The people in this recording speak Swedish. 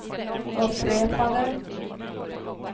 upprepade